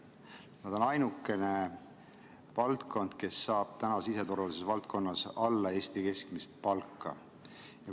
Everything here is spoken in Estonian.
See on ainukene valdkond, mis saab täna siseturvalisuse valdkonnas Eesti keskmisest palgast vähem.